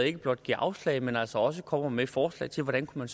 ikke blot giver afslag men altså også kommer med forslag til hvordan man